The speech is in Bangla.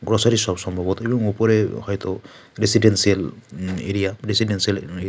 গ্রোসারি শপ সম্ভবত এবং উপরে হয়তো রেসিডেন্সিয়াল উম এরিয়া রেসিডেন্সিয়াল--